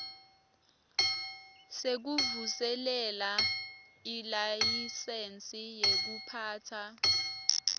sekuvuselela ilayisensi yekuphatsa